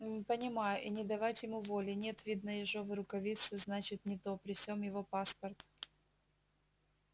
м понимаю и не давать ему воли нет видно ежовой рукавицы значит не то при сём его паспорт